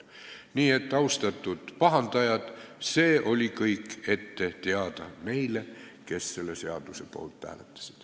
Nii et, austatud pahandajad, see oli kõik ette teada neile, kes selle seaduse poolt hääletasid.